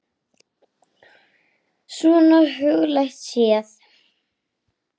Svona huglægt séð.